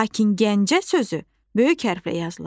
Lakin Gəncə sözü böyük hərflə yazılır.